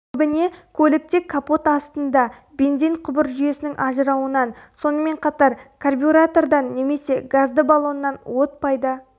көбіне көлікте капот астында бензин құбыр жүйесінің ажырауынан сонымен қатар карбюратордан немесе газды балоннан от пайда